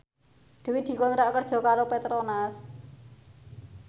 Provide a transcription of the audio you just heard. Dwi dikontrak kerja karo Petronas